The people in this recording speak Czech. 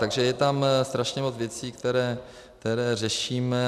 Takže je tam strašně moc věcí, které řešíme.